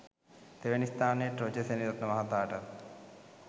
තෙවැනි ස්ථානයට රොජර් සෙනෙවිරත්න මහතාටත්